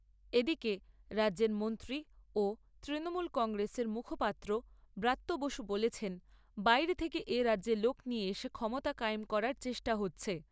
এদিকে, রাজ্যের মন্ত্রী ও তৃণমূল কংগ্রেসের মুখপাত্র ব্রাত্য বসু বলেছেন, বাইরে থেকে এ রাজ্যে লোক নিয়ে এসে ক্ষমতা কায়েম করার চেষ্টা হচ্ছে।